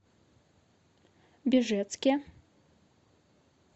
бежецке